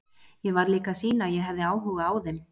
Ég varð líka að sýna að ég hefði áhuga á þeim.